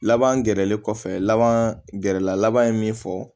Laban gɛrɛlen kɔfɛ laban gɛrɛla laban ye min fɔ